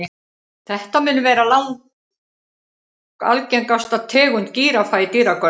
Þetta mun vera langalgengasta tegund gíraffa í dýragörðum.